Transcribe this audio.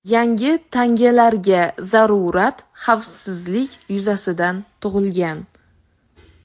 Yangi tangalarga zarurat xavfsizlik yuzasidan tug‘ilgan.